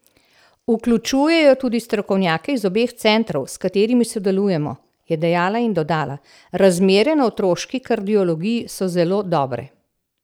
Vključujejo tudi strokovnjake iz obeh centrov, s katerimi sodelujemo," je dejala in dodala: "Razmere na otroški kardiologiji so zelo dobre.